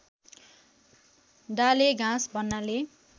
डालेघाँस भन्नाले